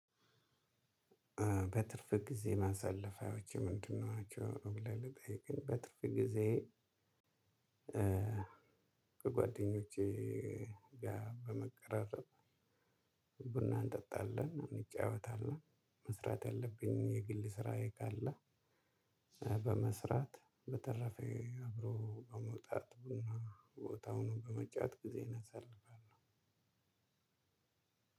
በትርፍ ጊዜ ማሳለፊያዎችህ ምንድ ናቸው? ብለህ ለጠየከኝ በትርፍ ጊዜዬ ከጓደኞቼ ጋር በመቀራረብ ቡና እንጠጣለን እንጫወታለን። መስራት ያለብኝን የግል ስራዬ ካለ በመስራት በተረፈ አብሮ በመውጣት ቡና ቦታ ሆኖ በመጫወት ጊዜዬን አሳልፋለሁ።